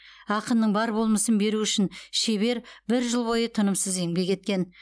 ақынның бар болмысын беру үшін шебер бір жыл бойы тынымсыз еңбек еткен